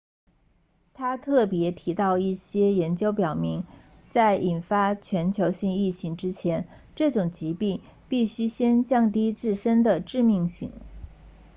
他特别提到一些研究表明在引发全球性疫情之前这种疾病必须先降低自身的致命性